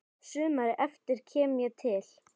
Sumarið eftir kem ég til